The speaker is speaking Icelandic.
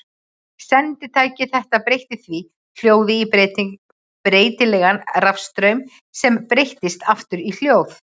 Senditæki þetta breytti því hljóði í breytilegan rafstraum sem breyttist aftur í hljóð.